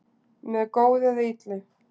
með góðu eða illu